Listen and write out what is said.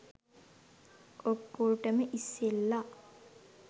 ඔක්කොටම ඉස්සෙල්ල